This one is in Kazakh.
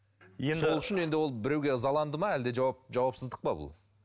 енді сол үшін ол енді біреуге ызаланды ма әлде жауапсыздық па бұл